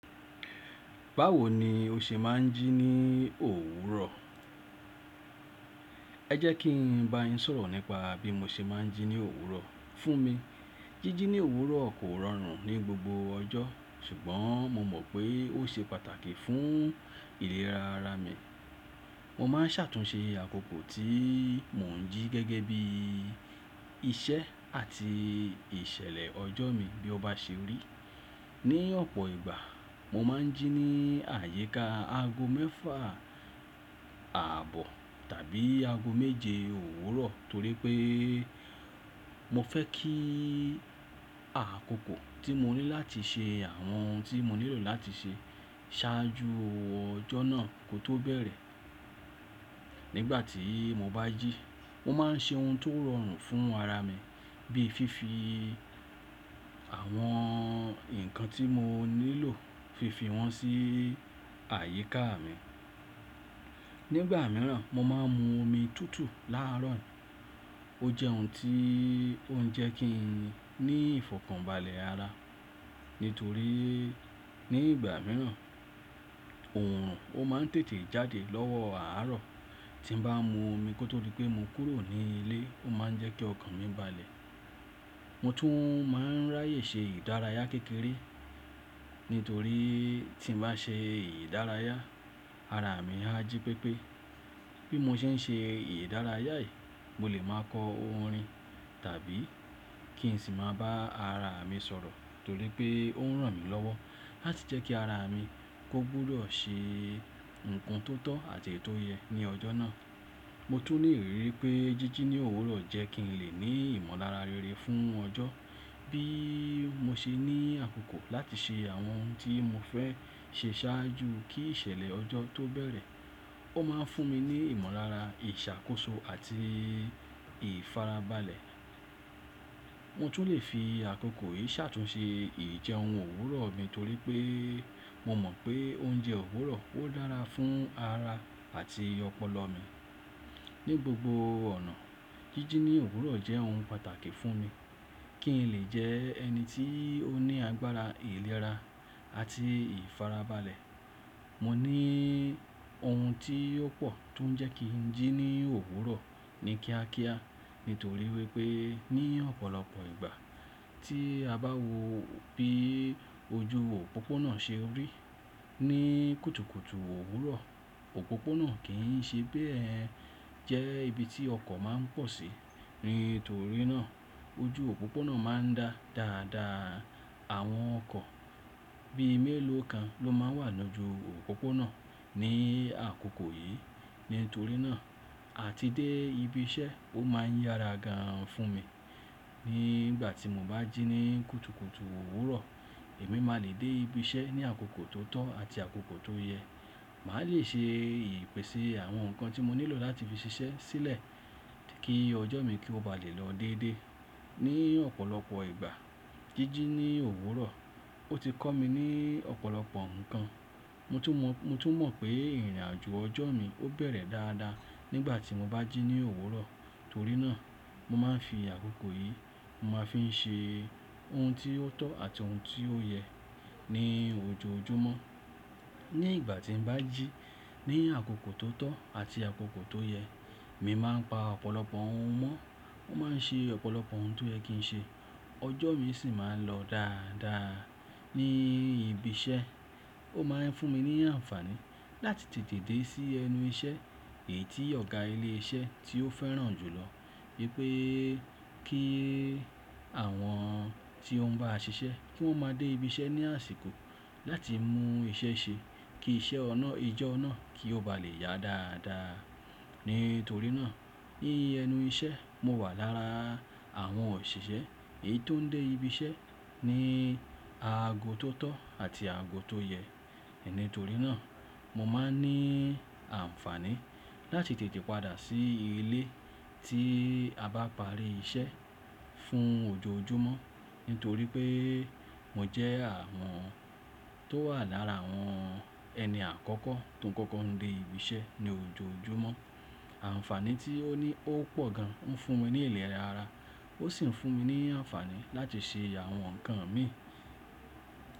Báwo ni o ṣe ma ń jí ní òwúrọ̀? Ẹ jẹ́ kí n ba yín sọ̀rọ̀ nípa bí mo ṣe máa ń jí ní òwúrọ̀. Fún mi, jíjí ní òwúrọ̀ kò rọrùn ní gbogbo ọjọ́, ṣùgbọ́n mo mọ̀ pé ó ṣe pàtàkì fún ìlera ara mi. Mo má ń ṣàtúnṣe àkókò tí mo ń jí gẹ́gẹ́ bí iṣẹ́ àti ìṣẹ̀lẹ̀ ọjọ́ mi bí ó bá ṣe rí. Ni ọ̀pọ̀ ìgbà, mo máa ń jí ní àyíká aago mẹ́fà ààbọ̀ tàbí aago méje òwúrọ̀ torí pé mo fẹ́ kí àkókò tí mo ní láti ṣe àwọn ohun tí mo nílò láti ṣe ṣáájú ọjọ́ náà kó tó bẹ̀rẹ̀. Nígbà tí mo bá jí, mo máa ń ṣe ohun tó rọrùn fún ara mi bíi fífi àwọn ǹkan tí mo nílò fi fi wọn sí àyíká mi. Nígbà mìíràn, mo máa ń mu omi tútù láàárọ̀. Ó jẹ́ ohun tí ó ń jẹ kí n ní ìfọ̀kànbalẹ̀ ara nítorí ní ìgbà mìíràn, òòrùn ó máa ń tètè jáde lọ́wọ́ àárọ̀ tí mo bá mu omi kó tó rí pé mo kúrò ní ilé ó máa ń jẹ́ kí ọkàn mi balẹ̀. Mo tún máa ń ráyè ṣe ìdárayá kékeré nítorí tí mo bá ṣe ìdárayá, ara mi á jí pépé. Bí mo ṣe ń ṣe ìdárayá yìí, mo lè máa kọ orin tàbí kí n sì máa bá ara mi sọ̀rọ̀ torí pé ó ń ràn mí lọ́wọ́ láti jẹ́ kí ara mi kó gbúdọ̀ ṣe ohun tó tọ́ àti ètò yẹ ní ọjọ́ náà. Mo tún le rí i pé jíjí ní òwúrọ̀ jẹ́ kí n lè ní ìmọ̀lára rere fún ọjọ́ bí mo ṣe ní àkókò láti ṣe àwọn ohun tí mo fẹ́ ṣe ṣáájú kí ìṣẹ̀lẹ̀ ọjọ́ tó bẹ̀rẹ̀. Ó máa ń fún mi ní ìmọ̀lára, ìṣàkóso àti ìfarabalẹ̀. Mo tún lè fi àkókò yìí ṣàtúnṣe ìjẹun òwúrọ̀ mi torí pé mo mọ̀ pé oúnjẹ òwúrọ̀ ó dára fún ara àti ọpọlọ mi. Ní gbogbo ọ̀nà, jíjí ní òwúrọ̀ jẹ́ ohun pàtàkì fún mi kí n lè jẹ ẹni tí ó ní agbára ìlera àti ìfarabalẹ̀. Mo ní ohun tí ó pọ̀ tó ń jẹ́ kí n jí ní òwúrọ̀ ni kíákíá nítorí wípé ní ọ̀pọ̀lọpọ̀ ìgbà tí a bá wo bí ojú òpópónà ṣe rí ní kùtùkùtù òwúrọ̀, òpópónà kì í ṣe bẹ́ẹ̀ jẹ́ ibi tí ọkọ̀ máa ń pọ̀ sí. Nítorí náà ojú òpópónà máa ń dá dáadáa. Àwọn ọkọ̀ bí i mélòó kan ló máa wà nínú ojú òpópónà ní àkókò yìí. Nítorí náà, àti dé ibi iṣẹ́ ó máa ń yára gan fún mi. Nígbà tí mo bá jí ní kùtùkùtù òwúrọ̀, èmi máa le dé ibi iṣẹ́ ní àkókò tó tọ́ àti àkókò tó yẹ. Màá lè ṣe ìpèsè àwọn nǹkan tí mo nílò láti fi ṣiṣẹ́ sílẹ̀ kí ọjọ́ mi kó ba lè lọ déédéé. Ní ọ̀pọ̀lọpọ̀ ìgbà, jíjí ní òwúrọ̀ ó ti kọ́ mi ní ọ̀pọ̀lọpọ̀ nǹkan. Mo tún mọ̀ pé ìrìnàjò ọjọ́ mi ó bẹ̀rẹ̀ dáadáa nígbà tí mo bá jí ní òwúrọ̀. Torí náà mo máa ń fi àkókò yìí, mo máa fi ń ṣe ohun tí ó tọ́ àti ohun tí ó yẹ ní ojoojúmọ́. Ní ìgbà tí mo bá jí ní àkókò tó tọ́ àti àkókò tó yẹ, èmi máa ń pa ọ̀pọ̀lọpọ̀ ohun mọ́. Ó máa ń ṣe ọ̀pọ̀lọpọ̀ ohun tó yẹ kí n ṣe. Ọjọ́ mi sì máa ń lọ dáadáa. Ní ibi iṣẹ́, ó máa ń fún mi ní àǹfààní láti tètè dé sí ẹnu iṣẹ́ èyí tí ọ̀gá ilé iṣẹ́ tí ó fẹ́ràn jùlọ wípé kí àwọn tí ó ń bá a ṣiṣẹ́ kí wón máa dé ibi iṣẹ́ ní àsìkò láti mú iṣẹ́ ṣe kí iṣẹ́ ọ̀nà ijọ́ ọ̀nà kí ó bá lè yá dáadáa. Nítorí náà, ní ẹnu iṣẹ́ mo wà lára àwọn òṣìṣẹ́ èyí tó ń dé ibi iṣẹ́ ní aago tó tọ́ àti aago tó yẹ. Nítorí náà mo máa ń ní àǹfààní láti tètè padà sí ilé tí a bá parí iṣẹ́ fún ojoojúmọ́. Nítorí pé mo jẹ́ àwọn tó wà lára àwọn ẹni àkọ́kọ́ tó ń kọ́kọ́ ń dé ibi iṣẹ́ ní ojoojúmọ́. Àǹfààní tí ó ní ó pọ̀ gan ń fún mi ní ìlera ara ó sì ń fún mi ní àǹfààní láti ṣe àwọn nǹkan mi.